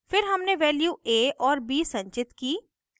फिर हमने values a और b संचित कीं